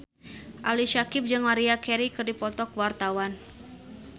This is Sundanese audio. Ali Syakieb jeung Maria Carey keur dipoto ku wartawan